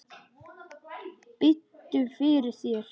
Biddu fyrir þér!